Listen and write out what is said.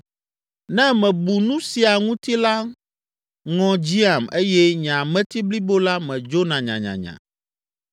Ne mebu nu sia ŋuti la ŋɔ dziam eye nye ameti blibo la medzona nyanyanya.